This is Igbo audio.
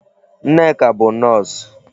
Nneka bụ Nọọsụ.